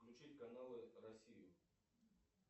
включить каналы россию